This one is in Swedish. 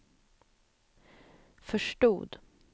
förstod